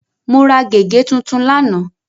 Mo ra gègé tuntun lánàá.